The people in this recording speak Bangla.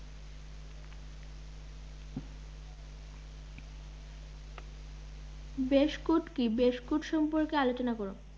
বেশকুট কি? সম্পর্কে বেশকুট সম্পর্কে আলোচনা করো